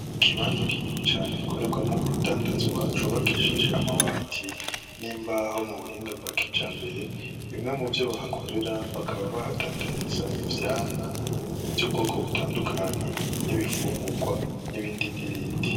Ikibanza kinini cane gikorerwamwo urudandazwa cubakishije amabati n'imbaho mu buhinga bwa kijambere. Bimwe muvyo bahakore, bakaba bahadandariza ivyamwa vy'ubwoko butandukanye n'ibifunguwa n'ibindi n'ibindi.